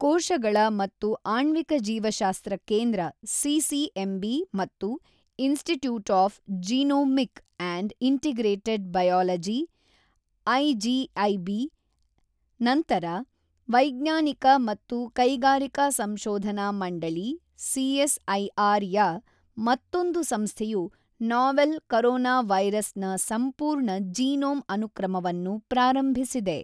ಕೋಶಗಳ ಮತ್ತು ಆಣ್ವಿಕ ಜೀವಶಾಸ್ತ್ರ ಕೇಂದ್ರ ಸಿಸಿಎಂಬಿ ಮತ್ತು institute of genomic and integrated biology IGIB ನಂತರ, ವೈಜ್ಞಾನಿಕ ಮತ್ತು ಕೈಗಾರಿಕಾ ಸಂಶೋಧನಾ ಮಂಡಳಿ ಸಿಎಸ್ಐಆರ್ ಯ ಮತ್ತೊಂದು ಸಂಸ್ಥೆಯು ನಾವೆಲ್ ಕರೋನವೈರಸ್ ನ ಸಂಪೂರ್ಣ ಜೀನೋಮ್ ಅನುಕ್ರಮವನ್ನು ಪ್ರಾರಂಭಿಸಿದೆ.